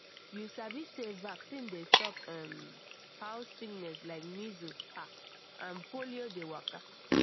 you sabi sey vaccine dey stop um how sickness like measles ah and polio dey waka